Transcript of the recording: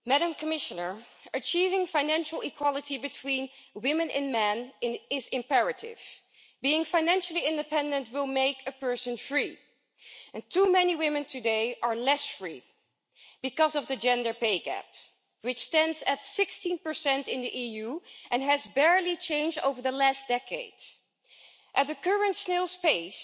Mr President, I would like to say to the Commissioner that achieving financial equality between women and men is imperative. Being financially independent will make a person free, and too many women today are less free because of the gender pay gap, which stands at 16 in the EU and has barely changed over the last decade. At the current snail's pace,